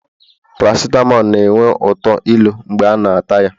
paracitamol na-enwe uto ilu mgbe a na-ata ya